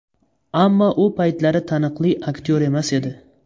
Ammo u paytlari taniqli aktyor emas edi.